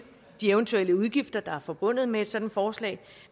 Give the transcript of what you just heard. de eventuelle udgifter der er forbundet med et sådant forslag